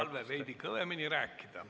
Palve on veidi kõvemini rääkida.